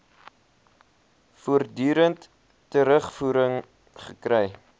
voortdurend terugvoering gekry